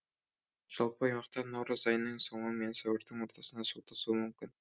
жалпы аймақта наурыз айының соңы мен сәуірдің ортасында су тасуы мүмкін